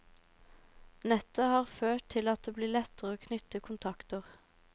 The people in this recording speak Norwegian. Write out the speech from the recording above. Nettet har ført til at det blir lettere å knytte kontakter.